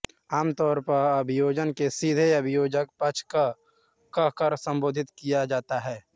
आम तौर पर अभियोजन को सीधे अभियोजक पक्ष कह कर संबोधित किया जाता है